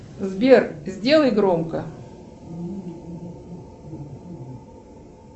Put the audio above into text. сбер сделай громко